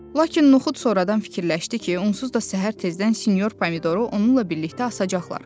Lakin noxud sonradan fikirləşdi ki, onsuz da səhər tezdən sinyor pomidoru onunla birlikdə asacaqlar.